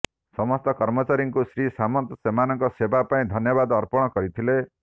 ସମସ୍ତ କର୍ମଚାରୀଙ୍କୁ ଶ୍ରୀ ସାମନ୍ତ ସେମାନଙ୍କ ସେବା ପାଇଁ ଧନ୍ୟବାଦ ଅର୍ପଣ କରିଥିଲେ